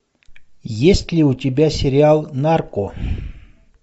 есть ли у тебя сериал нарко